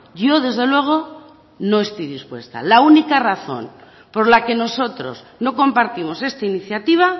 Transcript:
yo desde luego no estoy dispuesta la única razón por la que nosotros no compartimos esta iniciativa